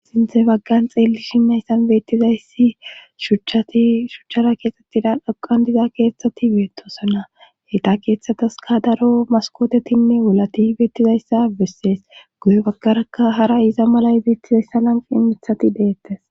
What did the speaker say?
sinthe baggan xeelli shin hayssan beettizayssi shhashuchchara keexxettida aqan diza keeththati beettosona heyta keeththatas ka daro maskootetinne wulati beettizayssa bissees guye baggaraka hara iza mala ibeettizayssa lanqi imithati deettes